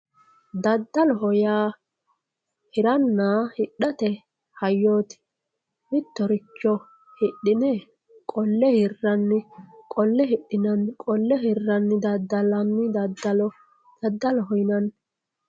Dadaloho yaa hirana hidhate hayyooti mitoricho hidhine qolle hirani qole hidhinani dadalani dadalo dadaloho yinani